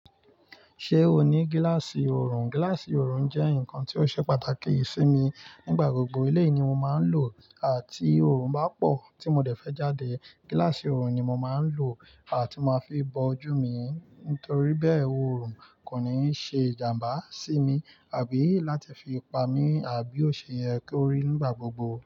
Ṣé o ní gíláàsì oorun? Gíláàsì oorun jẹ́ nǹkan tí ó ṣe pàtàkì sí mi nígbà gbogbo. Eléyi ni mo máa ń lò ó, àh, ti oorun bá pọ̀ tí mo dẹ̀ fẹ́ jáde, gíláàsì oorun ni mo máa ń lò ti máa n fi bo ojú mi nitorí bẹ́ẹ̀, oorun kò ní ṣe ìjàmbá sí mi àbí láti fi pa mí àbí ò ṣe yé korí nígbà gbogbo.